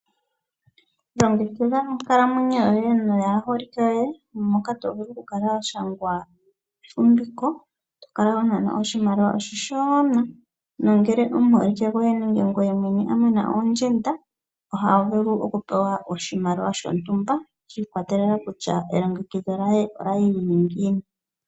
Longekidha onkalamwenyo yoye noyaaholike yoye, moka to vulu okukala wa shangwa ekwashilipaleko lyefumviko, to kala ho nanwa oshimaliwa oshishona. Nongele omuholike goye nenge ngoye mwene wa mana oondjenda oho vulu okupewa oshimaliwa shontumba, shi ikwatelela kutya elongekidho lye olya li lyi li ngiini.